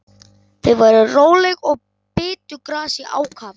Þau voru róleg og bitu gras í ákafa.